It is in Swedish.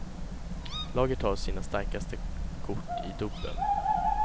Laget har sina starkaste kort i dubbeln.